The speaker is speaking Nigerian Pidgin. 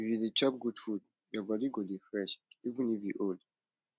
if you dey chop good food your body go dey fresh even if you old